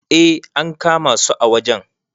eh an kama su a wajen